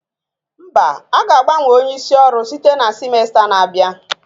Mba, a ga-agbanwe onye isi ọrụ site na simesta na-abịa